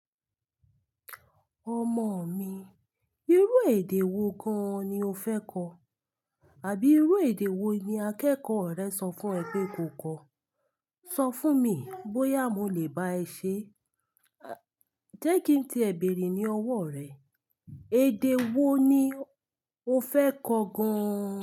Ọmọ mi, irú èdè wo gan-an ni o fẹ́ ko? Àbí irú èdè wo ni akẹ́kọ̀ọ́ rẹ sọ fún ẹ pé ko kọ? Sọ fún mi bóyá mo lè bá ẹ ṣé. Jẹ́ kí n ti ẹ̀ bèrè ní ọwọ́ rẹ, èdè wo ni o fẹ́ kọ gan?